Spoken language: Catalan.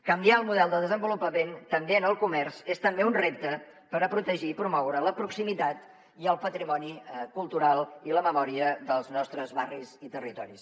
canviar el model de desenvolupament també en el comerç és també un repte per a protegir i promoure la proximitat i el patrimoni cultural i la memòria dels nostres barris i territoris